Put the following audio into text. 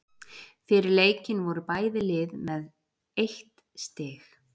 Fyrir leikinn voru bæði lið með eitt stig.